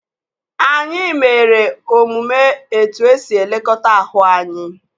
Anyị mere omume etu esi elekọta ahụ anyị